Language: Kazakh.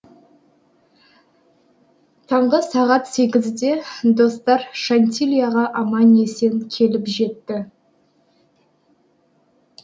таңғы сағат сегізде достар шантильяға аман есен келіп жетті